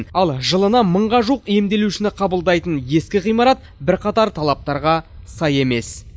ал жылына мыңға жуық емделушіні қабылдайтын ескі ғимарат бірқатар талаптарға сай емес